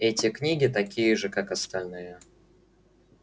эти книги такие же как и остальные